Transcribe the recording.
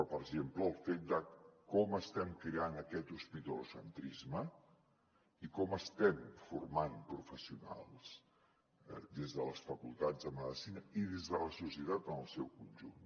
per exemple el fet de com estem creant aquest hospitalocentrisme i com estem formant professionals des de les facultats de medicina i des de la societat en el seu conjunt